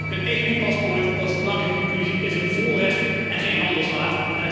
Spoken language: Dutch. Een EU paspoort, dat is de belangrijkste conclusie, is een voorrecht en geen handelswaar.